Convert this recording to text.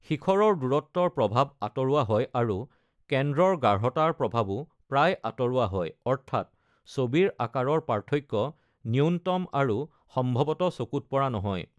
শিখৰৰ দূৰত্বৰ প্ৰভাৱ আঁতৰোৱা হয় আৰু কেন্দ্ৰৰ গাঢ়তাৰ প্ৰভাৱো প্ৰায় আঁতৰোৱা হয়, অৰ্থাৎ ছবিৰ আকাৰৰ পাৰ্থক্য নূন্যতম আৰু সম্ভৱতঃ চকুত পৰা নহয়।